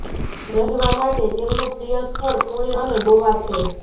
રહેવા માટે તેમનુ પ્રિય સ્થળ પૂણે અને ગોવા છે